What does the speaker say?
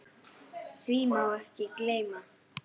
Því má ekki gleyma.